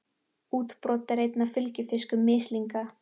Útbrot eru einn af fylgifiskum mislinga.